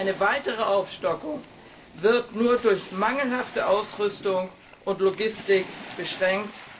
Eine weitere Aufstockung wird nur durch mangelhafte Ausrüstung und Logistik beschränkt.